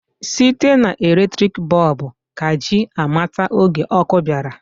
Site na eletriki bọb ka ji amata oge ọkụ bịara.